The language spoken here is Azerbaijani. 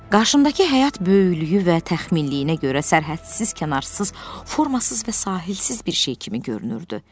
Qarşımdakı həyat böyüklüyü və təxminliyinə görə sərhədsiz, kənarsız, formasız və sahilsiz bir şey kimi görünürdü.